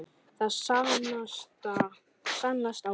Það sannast á þér.